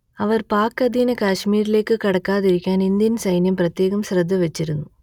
അവർ പാക് അധീന കാശ്മീരിലേക്ക് കടക്കാതിരിക്കാൻ ഇന്ത്യൻ സൈന്യം പ്രത്യേക ശ്രദ്ധ വച്ചിരുന്നു